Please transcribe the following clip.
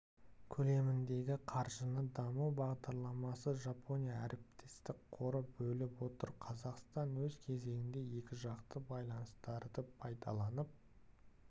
көлеміндегі қаржыны даму бағдарламасы жапония әріптестік қоры бөліп отыр қазақстан өз кезегінде екіжақты байланыстарды пайдаланып